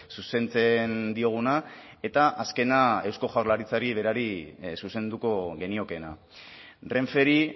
zuzentzen dioguna eta azkena eusko jaurlaritzari berari zuzenduko geniokeena renferi